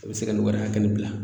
A be se ka nin wari hakɛ nin bila